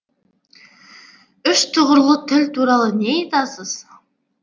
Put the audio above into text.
үш тұғырлы тіл туралы не айтасыз